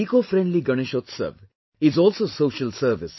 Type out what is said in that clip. Ecofriendly Ganeshotsav is also social service